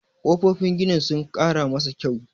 kofofin ginin sun Kara masa kyau